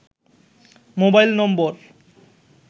mobile নম্বর